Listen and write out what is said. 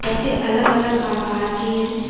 बसें अलग अलग आकार की हैं।